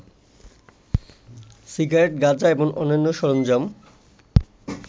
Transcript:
cigarette, গাঁজা এবং অন্যান্য সরঞ্জাম